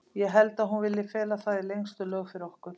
Ég held að hún vilji fela það í lengstu lög fyrir ykkur.